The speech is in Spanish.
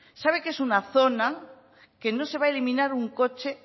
sabe que es una zona que no se va a eliminar un coche